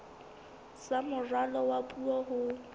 sa moralo wa puo ho